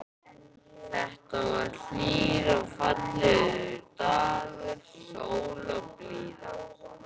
Þetta var hlýr og fallegur dagur, sól og blíða.